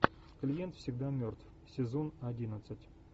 клиент всегда мертв сезон одиннадцать